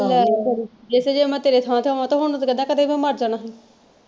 ਜੇਸੇ ਜੇ ਮੈਂ ਤੇਰੇ ਥਾਂ ਤੇ ਹੋਵਾਂ ਤੇ ਹੁਣ ਨੂੰ ਤਾਂ ਕਹਿੰਦਾ ਕਦੇ ਦਾ ਮਰ ਜਾਣਾ ਸੀ।